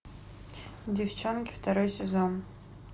деффчонки второй сезон